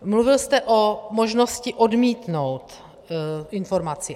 Mluvil jste o možnosti odmítnout informaci.